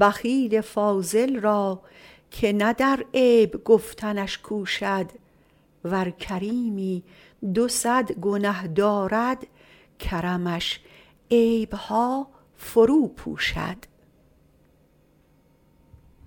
بخیل فاضل را که نه در عیب گفتنش کوشد ور کریمی دو صد گنه دارد کرمش عیبها فرو پوشد